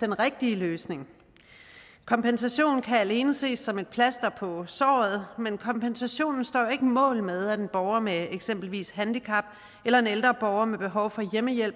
den rigtige løsning kompensation kan alene ses som et plaster på såret men kompensationen står jo ikke mål med at en borger med eksempelvis et handicap eller en ældre borger med behov for hjemmehjælp